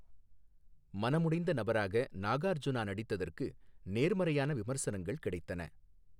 மனமுடைந்த நபராக நாகார்ஜுனா நடித்ததற்கு நேர்மறையான விமர்சனங்கள் கிடைத்தன.